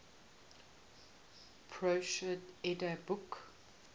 prose edda book